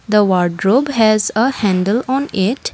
the wardrobe has a handle on it.